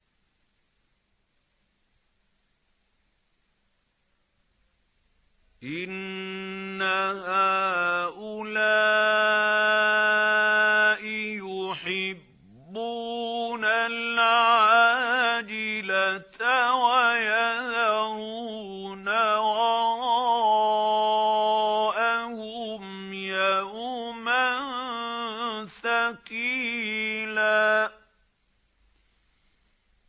إِنَّ هَٰؤُلَاءِ يُحِبُّونَ الْعَاجِلَةَ وَيَذَرُونَ وَرَاءَهُمْ يَوْمًا ثَقِيلًا